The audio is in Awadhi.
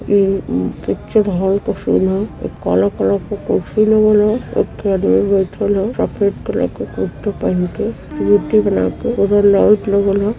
इ पिक्चर हॉल क सीन ह। एक काला कलर के कुर्सी लागल ह। एक थो आदमी बइठल ह सफ़ेद कलर क कुरता पहिन के। एगो लाइट लागल ह।